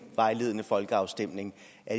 vejledende folkeafstemninger